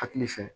Hakili fɛ